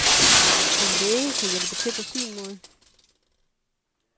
En læge kan hjælpe til på sin måde.